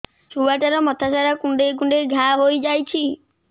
ଛୁଆଟାର ମଥା ସାରା କୁଂଡେଇ କୁଂଡେଇ ଘାଆ ହୋଇ ଯାଇଛି